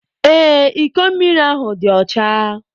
Ee, iko mmiri ahụ dị ọcha.